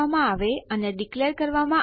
તમને અહીં ફક્ત એમડી5 ફંક્શનની જરૂર છે